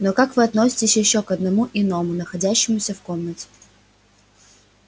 но вот как относиться к ещё одному иному находящемуся в комнате